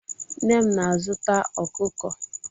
Nne m na-azụta ọkụkọ.